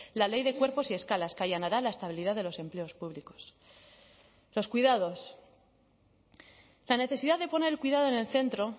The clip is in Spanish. la ley de cuerpos y escalas que allanará la estabilidad de los empleos públicos los cuidados la necesidad de poner el cuidado en el centro